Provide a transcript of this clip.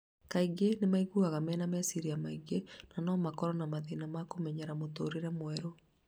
Kaingĩ nĩ maiguaga mena meciria maingĩ na no makorwo na mathĩna ma kũmenyera mũtũũrĩre mwerũ.